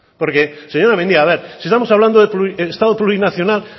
porque señora mendia a ver si estamos hablando de estado plurinacional